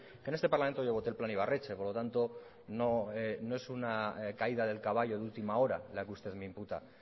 que en este parlamento yo voté el plan ibarretxe por lo tanto no es una caída del caballo de última hora la que usted me imputa